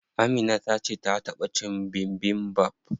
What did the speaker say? Amina tace ta taɓa cin bibimbap.